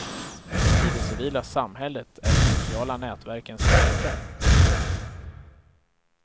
I det civila samhället är de sociala nätverken starka.